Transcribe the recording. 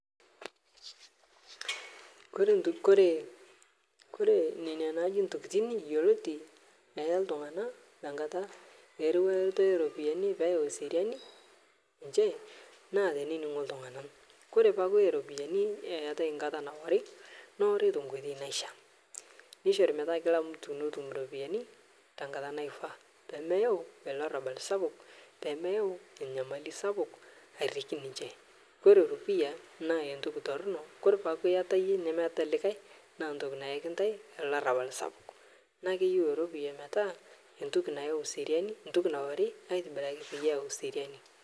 Koree nena naaji ntokitin yioloti eya ltunganak tenkata eriwata oropiyiani metaa keyau eseriani nchere naa teneningo ltunganak koree paaku ore ropiyiani eetae nkata naori neori tenkoitoi naishaa nishori metaa kilamtu netum ropiyiani tenkata naifaa pee meyau olarabal sapuk nemeyau enyamali sapuk airiki ninche ore eropiyia naa entoki toronok kore pee iyata iyie nemeeta likae naa ntoki nayaki ntae olarabal sapuk naa keyieu eropiyia metaa entoki nayau seriani entoki naori aitobiraki pee eyau seriani